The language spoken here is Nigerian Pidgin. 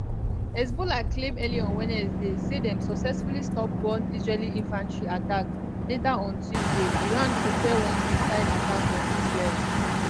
hezbollah claim early on wednesday say dem successfully stop one israeli infantry attack later on tuesday iran prepare one missile attack on israel